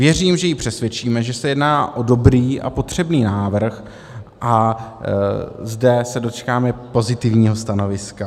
Věřím, že ji přesvědčíme, že se jedná o dobrý a potřebný návrh a zde se dočkáme pozitivního stanoviska.